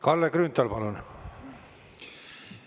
Kalle Grünthal, palun!